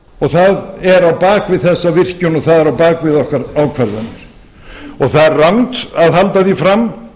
það er á bak við þessa virkjun og það er á bak við okkar ákvarðanir það er rangt að halda fram